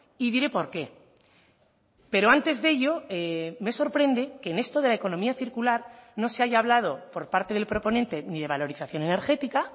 y diré por qué pero antes de ello me sorprende que en esto de la economía circular no se haya hablado por parte del proponente ni de valorización energética